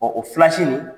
Ɔ o fila si nin